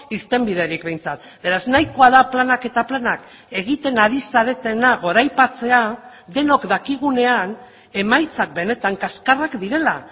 irtenbiderik behintzat beraz nahikoa da planak eta planak egiten ari zaretena goraipatzea denok dakigunean emaitzak benetan kaxkarrak direla